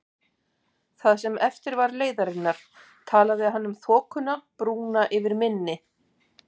Það sem eftir var leiðarinnar, talaði hann um þokuna, brúna yfir mynni